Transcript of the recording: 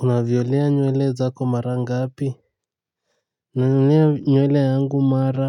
Unavyolea nywele zako mara ngapi nazilea nywele yangu mara